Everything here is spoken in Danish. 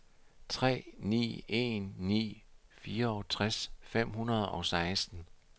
tre ni en ni fireogtres fem hundrede og seksten